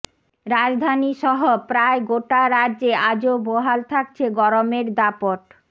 রাজধানী সহ প্রায় গোটা রাজ্যে আজও বহাল থাকছে গরমের দাপট